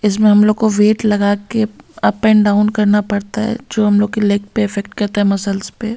इसमें हम लोग को वेट लगा के अप एंड डाउन करना पड़ता है जो हम लोग के लेग पे इफेक्ट करता है मसल्स पे।